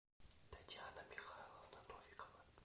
татьяна михайловна новикова